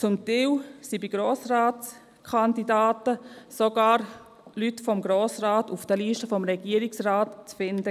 Zum Teil sind waren sogar Grossratskandidaten auf den Listen des Regierungsrat zu finden.